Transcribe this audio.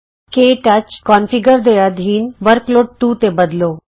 ਕੇ touch configure ਦੇ ਅਧੀਨ workload 2 ਤੇ ਬਦਲੋ